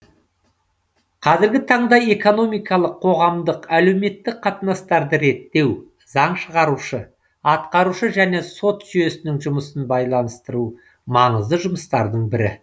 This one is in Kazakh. қазіргі таңда экономикалық қоғамдық әлеуметтік қатынастарды реттеу заң шығарушы атқарушы және сот жүйесінің жұмысын байланыстыру маңызды жұмыстардың бірі